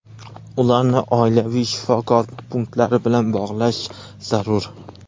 ularni oilaviy shifokor punktlari bilan bog‘lash zarur.